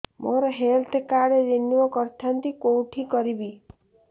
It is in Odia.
ମୋର ହେଲ୍ଥ କାର୍ଡ ରିନିଓ କରିଥାନ୍ତି କୋଉଠି କରିବି